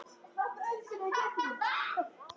Vá, hvað ég elskaði þig.